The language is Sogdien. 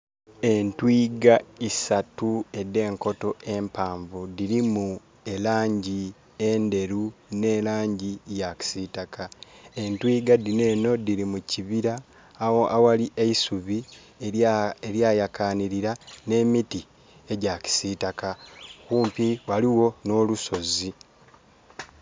Entwiga isatu ede nkoto empaavu dirimu elangi enderu ne langi ya kisitaka. Entwiga dino eno diri mukibira awali eisubi erya yakanilira ne miti egya kisitaka. Kumpi waliwo no lusozi